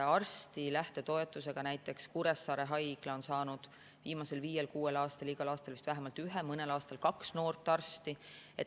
Arstide lähtetoetusega on näiteks Kuressaare haigla saanud viimasel viiel-kuuel aastal igal aastal vist vähemalt ühe, mõnel aastal kaks noort arsti.